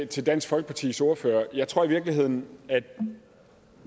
til dansk folkepartis ordfører jeg tror i virkeligheden at